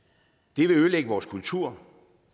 det vil ødelægge vores kultur